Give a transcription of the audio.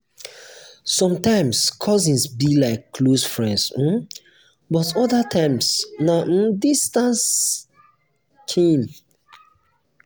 sometimes cousins be like close friends um but other times na um distant kin.